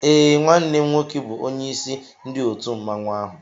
Eé, nwanne m nwoke bu onyeisi ndị òtù mmanwu áhù